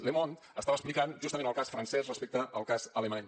le monde estava explicant justament el cas francès respecte al cas alemany